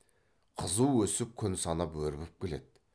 қызу өсіп күн санап өрбіп келеді